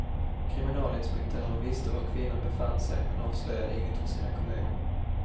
Kriminalinspektören visste var kvinnan befann sig men avslöjade inget för sina kolleger.